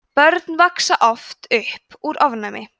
börn vaxa oft upp úr ofnæmi